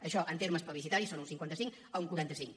això en termes plebiscitaris és un cinquanta cinc a un quaranta cinc